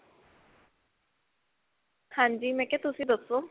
ਹਾਂਜੀ ਮੈਂ ਕਿਹਾ ਤੁਸੀਂ ਦੱਸੋ.